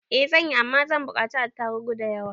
I zanyi, Amma zan bukaci attarubu da yawa.